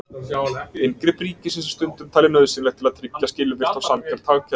Inngrip ríkisins er stundum talið nauðsynlegt til að tryggja skilvirkt og sanngjarnt hagkerfi.